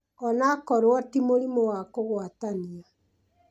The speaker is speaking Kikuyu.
O na korũo ti mũrimũ wa kũgwatania,